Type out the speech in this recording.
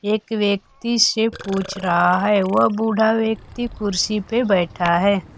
एक व्यक्ति से पूछ रहा है वह बूढ़ा व्यक्ति कुर्सी पे बैठा है।